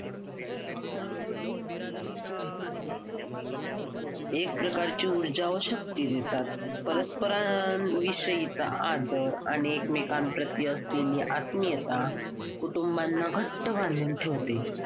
एक प्रकारची ऊर्जा व शक्ती देतात परस्परा अं विषयीचा आदर आणि एकमेकांप्रती असलेली आत्मीयता कुटुंबाना घट्ट बांधून ठेवते